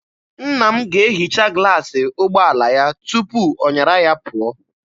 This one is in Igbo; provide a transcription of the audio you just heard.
Nna m ga-ehicha glaasị ụgbọala ya tupu ọ nyara ya pụọ.